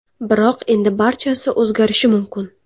Biroq endi barchasi o‘zgarishi mumkin.